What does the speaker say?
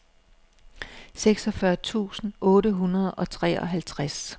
seksogfyrre tusind otte hundrede og treoghalvtreds